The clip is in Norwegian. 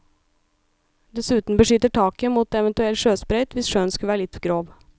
Dessuten beskytter taket mot eventuell sjøsprøyt hvis sjøen skulle være litt grov.